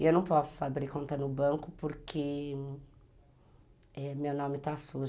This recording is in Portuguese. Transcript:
E eu não posso abrir conta no banco porque... meu nome está sujo.